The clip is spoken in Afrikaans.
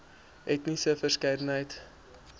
etniese verskeidenheid